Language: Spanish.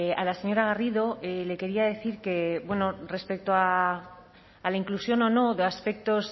a la señora garrido le quería decir que respecto a la inclusión o no de aspectos